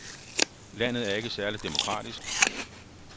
Landet er ikke særlig demokratisk.